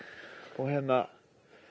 og hérna